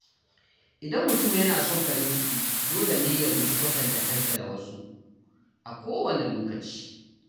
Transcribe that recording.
Idan mutum yana son farin ciki, dole ne ya guji kwatanta kansa da wasu a kowanne lokaci.